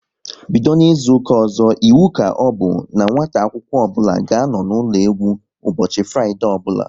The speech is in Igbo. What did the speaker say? Bido n'izuka ọzọ, iwu ka ọbụ n'nwata akwụkwọ ọbụla ga-anọ n'ụlọ egwu ụbọchị Fraịdee ọbụla